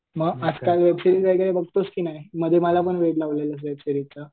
मग आजकाल वेबसिरीज बघतोस की नाही मध्ये मला पण वेड लावलेलंस वेबसिरीज चं.